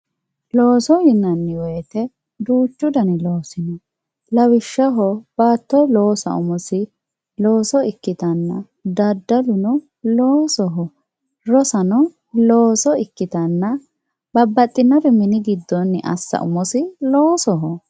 Looso yinanni woyte duuchu dani loosi no lawishshaho baatto loossa umisi looso ikkitanna daddalu loosoho rosano looso ikkittanna babbaxxitinore mini giddonni assa umisi loosoho.